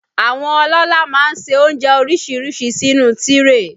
Àwọn ọlọ́lá má ń ṣe oúnjẹ oríṣiríṣi sínú tíréè